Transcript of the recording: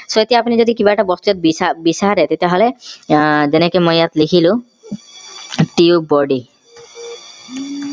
so এতিয়া কোনোবা এটা বস্তু যদি আপুনি বিচাৰে তেতিয়া হলে আহ যেনকে মই ইয়াত লিখিলো tubebuddy